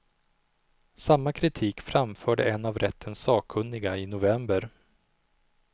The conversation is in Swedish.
Samma kritik framförde en av rättens sakkunniga i november.